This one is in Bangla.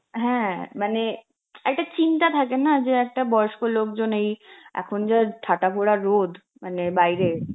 হ্যাঁ মানে একটা চিন্তা থাকে না যে একটা বয়স্ক লোকজন এই এখন যা ঠাটাভরা রোদ মানে বাইরে,